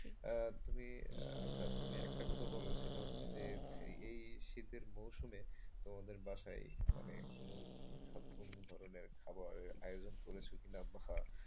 তুমি আচ্ছা তুমি একটা কথা বলো সেটা হচ্ছে যে, এই শীতের মরশুমে তোমাদের বাসায় মানে কোন কোন ধরনের খাবার আয়োজন করেছে কিনা বা,